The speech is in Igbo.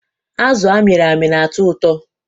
Azụ amịrị amị na-atọ ụtọ.